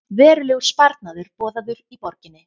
Verulegur sparnaður boðaður í borginni